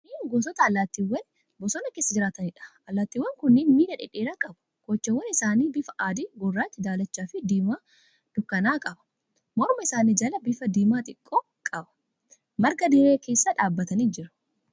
Kunneen gosoota allaattiiwwanii bosona keessa jiraataniidha. Allaattiiwwan kunneen miila dhedheeraa qabu. Kochoon isaanii bifa adi, gurraacha, daalachaafi diimaa dukkana'aa qaba. Morma isaanii jalaan bifa diimaa xiqqoo qabu. Marga dirree keessa dhaabbatanii jiru.